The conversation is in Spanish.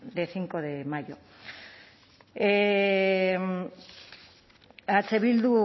de cinco de mayo a eh bildu